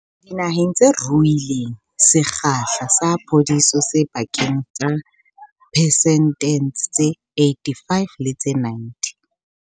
Dinaheng tse ruileng, sekgahla sa phodiso se pakeng tsa diphesente tse 85 le tse 90.